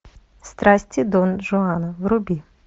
страсти дон жуана вруби